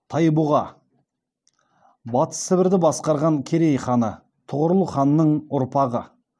тайбұға батыс сібірді басқарған керей ханы тұғырыл ханның ұрпағы